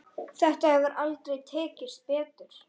Þetta hefur aldrei tekist betur.